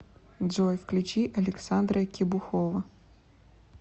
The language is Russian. джой включи александра кебухова